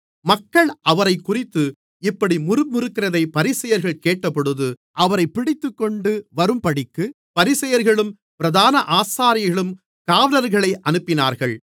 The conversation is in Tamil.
மக்கள் அவரைக்குறித்து இப்படி முறுமுறுக்கிறதைப் பரிசேயர்கள் கேட்டபொழுது அவரைப் பிடித்துக்கொண்டு வரும்படிக்குப் பரிசேயர்களும் பிரதான ஆசாரியர்களும் காவலர்களை அனுப்பினார்கள்